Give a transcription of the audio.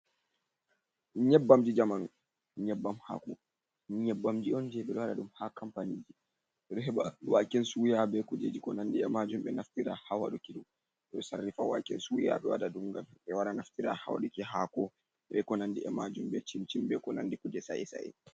Nyabbamji jamanu, nyebbam hako nyebbamji on je ɓe ɗo waɗa ɗum ha kampani ɓe ɗo heɓa waken suya be kuje ji konandi e majum ɓe naftira ha waɗuki ɓe sarrifa waken suya, be waɗa ɗum ngam ɓe wara naftira ha waɗuki hako be konandi e majum, be cimcin be ko nandi kuje sae sae.